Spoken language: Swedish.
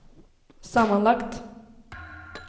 sammanlagt